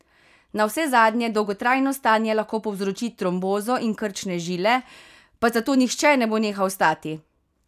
Navsezadnje dolgotrajno stanje lahko povzroči trombozo in krčne žile, pa zato nihče ne bo nehal stati!